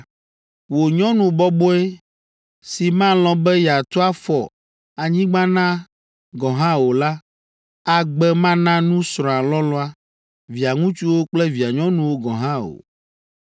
Wò nyɔnu bɔbɔe si malɔ̃ be yeatu afɔ anyigba na gɔ̃ hã o la, agbe mana nu srɔ̃a lɔlɔ̃a, via ŋutsuwo kple via nyɔnuwo gɔ̃ hã o.